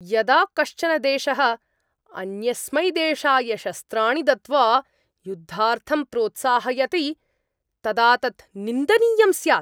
यदा कश्चन देशः अन्यस्मै देशाय शस्त्राणि दत्त्वा युद्धार्थं प्रोत्साहयति तदा तत् निन्दनीयं स्यात्।